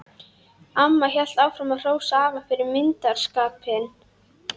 Amma hélt áfram að hrósa afa fyrir myndarskapinn.